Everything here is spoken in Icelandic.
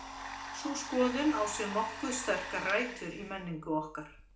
Sú skoðun á sér nokkuð sterkar rætur í menningu okkar.